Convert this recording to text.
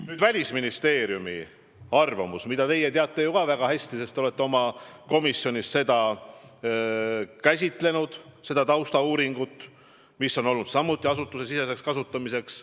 Nüüd, Välisministeeriumi arvamus, mida teie teate ju ka väga hästi, sest te olete oma komisjonis käsitlenud seda taustauuringut, mis on olnud asutusesiseseks kasutamiseks.